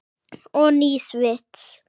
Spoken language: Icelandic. Og nýs vits.